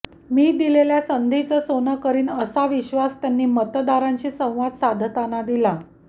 मी दिलेल्या संधीच सोने करीन असा विश्वास त्यांनी मतदारांशी संवाद साधताना दिला